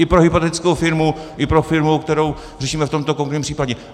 I pro hypotetickou firmu i pro firmu, kterou řešíme v tomto konkrétním případě.